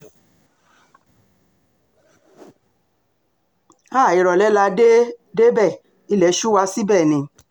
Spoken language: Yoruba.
háà ìrọ̀lẹ́ la dé débẹ̀ ilé sú wa síbẹ̀ ni